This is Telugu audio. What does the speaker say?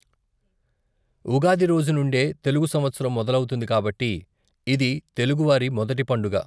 ఉగాది రోజు నుండే తెలుగు సంవత్సరం మొదలవుతుంది కాబట్టి, ఇది తెలుగువారి మొదటి పండుగ.